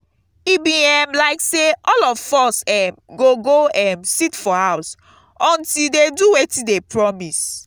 e be um like say all of us um go go um sit for house until dey do wetin dey promise